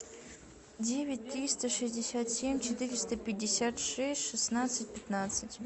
девять триста шестьдесят семь четыреста пятьдесят шесть шестнадцать пятнадцать